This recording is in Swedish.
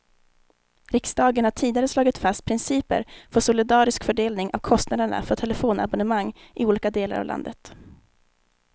Riksdagen har tidigare slagit fast principer för solidarisk fördelning av kostnaderna för telefonabonnemang i olika delar av landet.